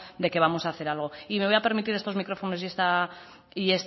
de que vamos a hacer algo y me voy a permitir estos micrófonos y